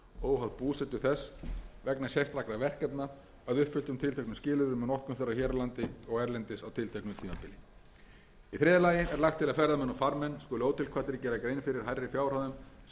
óháð búsetu þess vegna sérstakra verkefna að uppfylltum tilteknum skilyrðum um notkun þeirra hér á landi og erlendis á tilteknu tímabili í þriðja lagi er lagt til að ferðamenn og farmenn skuli ótilkvaddir gera grein fyrir hærri fjárhæðum en